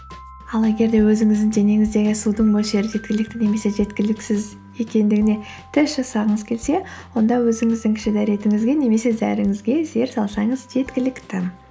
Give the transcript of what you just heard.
ал егер де өзіңіздің денеңіздегі судың мөлшері жеткілікті немесе жеткіліксіз екендігіне тест жасағыңыз келсе онда өзіңіздің кіші дәретіңізге немесе зәріңізге зер салсаңыз жеткілікті